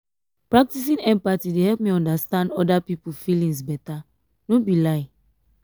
practicing empathy dey help me understand oda pipo feelings beta no be lie.